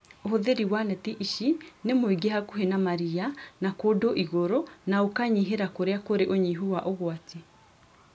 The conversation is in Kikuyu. Ũhũthĩrĩ wa neti ici nĩ mũingĩ hakuhĩ na maria na kũndũ igũrũ na ũkanyihĩra kũrĩa kũrĩ ũnyihu wa ũgwati